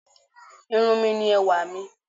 Irun mi ni ẹwà mi.